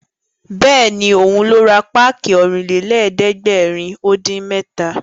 Bẹ́ẹ̀ni, òun ló ra páàkì Ọ̀rìnlélẹ̀ẹ́dẹ́gbèrin-dín-mẹ́ta